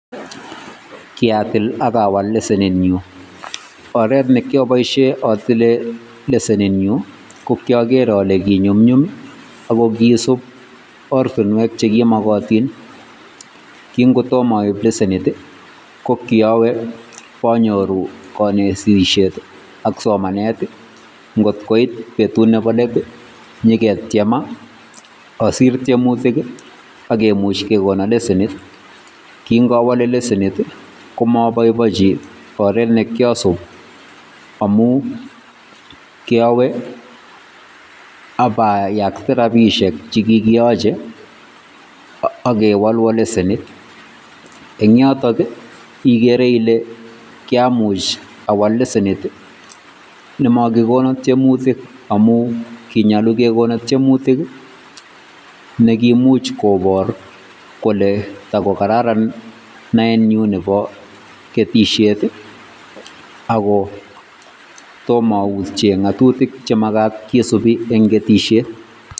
Kiatil ak awal leshenit nyun, oreet ne kioboishen otile leshenit nyun ko kioker olee kinyumnyum ak ko kisub ortinwek chekimokotin, king'otomo oib leshenit ii, ko kiowe ibonyoru koot nekisirishet ak somanet ngot koit betut nebo leet inyaketiema osir tiemutik ak kimuch kekonon leshenit, king'owole leshenit komoboiboinchi oreet nekiasub amun kiowe abayakte rabishek chekikiyoche okewolwon leshenit, en yotok ii ikere ilee kiamuch awal leshenet nemokikonon tiemutik amun kinyolu kekonon tiemutik nekiimuch kobor kole takokararan naenyu nebo ketishet ak ko tom autyen ng'otutik chenyolu kisibi en ketisiet.